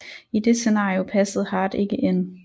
I det scenario passede Hart ikke ind